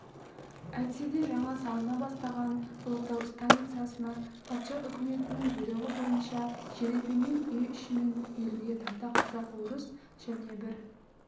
әйтсе де жаңа салына бастаған ұлытау станицасына патша үкіметінің бұйрығы бойынша жеребемен үй-ішімен елуге тарта казак-орыс және бір